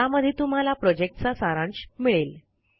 ज्यामध्ये तुम्हाला प्रॉजेक्टचा सारांश मिळेल